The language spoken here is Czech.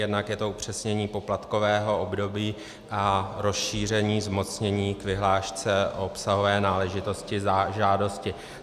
Jednak je to upřesnění poplatkového období a rozšíření zmocnění k vyhlášce, obsahové náležitosti, žádosti.